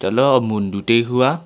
la humun bu tai hu aa.